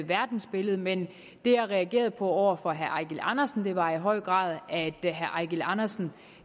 verdensbillede men det jeg reagerede på over for herre eigil andersen var i høj grad at herre eigil andersen